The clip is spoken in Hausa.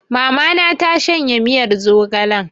Mama na ta shanye miyar zogalen